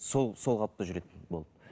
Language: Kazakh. сол қалыпта жүретін болды